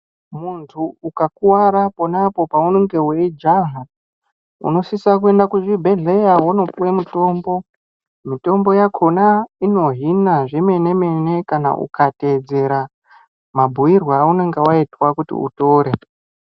Muntu ukakuwara pona apo paunenge uchijaha unosisa kuenda kuzvibhedhlera wondopuwa mutombo mutombo wakona unohina zvemene kana ukatedzera mabhuirwe waitwa kuti utore.